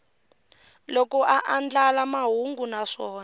loko a andlala mahungu naswona